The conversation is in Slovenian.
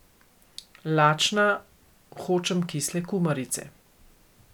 Lačna, hočem kisle kumarice!